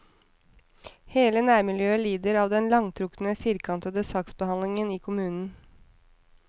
Hele nærmiljøet lider av den langtrukne og firkantede saksbehandlingen i kommunen.